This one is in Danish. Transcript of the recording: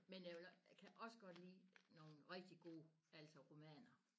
Men jeg vil også jeg kan også godt lide nogle rigtig gode altså romaner